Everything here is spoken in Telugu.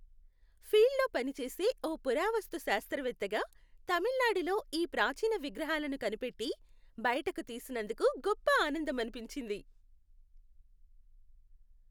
ఫీల్డ్లో పనిచేసే ఓ పురావస్తు శాస్త్రవేత్తగా, తమిళనాడులో ఈ ప్రాచీన విగ్రహాలను కనిపెట్టి, బయటికి తీసినందుకు గొప్ప ఆనందమనిపించింది.